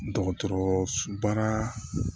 Dɔgɔtɔrɔso baara